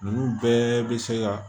Ninnu bɛɛ bɛ se ka